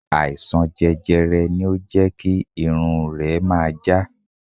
Àìsàn jẹjẹrẹ ni ó jẹ́ kí irun rẹ máa já.